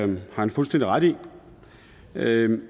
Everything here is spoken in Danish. det har han fuldstændig ret i